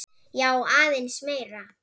Já, aðeins meira.